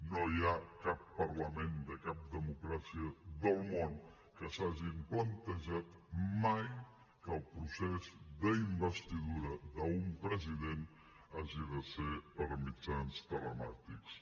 no hi ha cap parlament de cap democràcia del món que s’hagi plantejat mai que el procés d’investidura d’un president hagi de ser per mitjans telemàtics